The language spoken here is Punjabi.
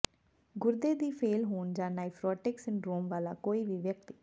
ਗੁਰਦੇ ਦੀ ਫੇਲ੍ਹ ਹੋਣ ਜਾਂ ਨਾਈਫਰੋਟਿਕ ਸਿੰਡਰੋਮ ਵਾਲਾ ਕੋਈ ਵੀ ਵਿਅਕਤੀ